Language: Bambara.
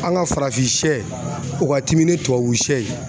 An ka farafin sɛ u ka timi ni tubabu sɛ ye